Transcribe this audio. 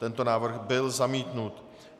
Tento návrh byl zamítnut.